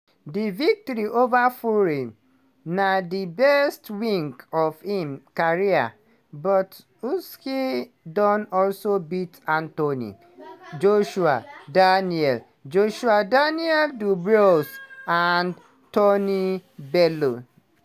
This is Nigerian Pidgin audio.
di victory ova fury na di best win of im career but usyk don also beat anthony joshua daniel joshua daniel dubois and tony bellew.